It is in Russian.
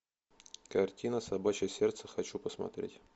картина собачье сердце хочу посмотреть